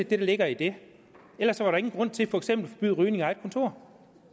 der ligger i det ellers var der ingen grund til for eksempel at forbyde rygning i eget kontor